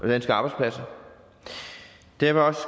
danske arbejdspladser derfor